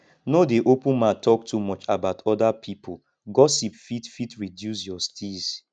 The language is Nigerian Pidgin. no dey open mouth talk too much about oda pipo gossip fit fit reduce your steeze